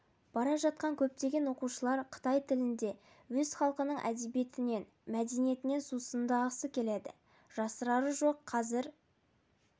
бара жатқанда көптеген оқушылар қытай тілінде өз халқының әдебиетінен мәдениетінен сусындағысы келеді жасырары жоқ қазір